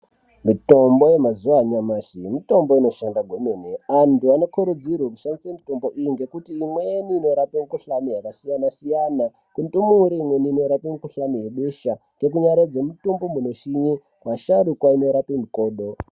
Mitombo yemazuva nyamashi mitombo inoshanda kwemene antu anokurudzirwa kushandisa mitombo iyi ngekuti imweni inorape mikuhlani yakasiyana-siyana kundumure inorape mukuhlani ngebesha nekunyaradza mitombo inoshonye vasharukwa inorapa mukodo.